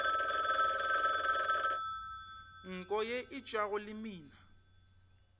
nko ye e tšwago lemina